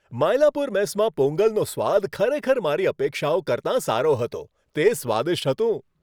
માયલાપુર મેસમાં પોંગલનો સ્વાદ ખરેખર મારી અપેક્ષાઓ કરતાં સારો હતો. તે સ્વાદિષ્ટ હતું.